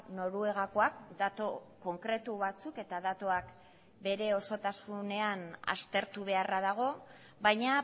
noruegakoak datu konkretu batzuk eta datuak bere osotasunean aztertu beharra dago baina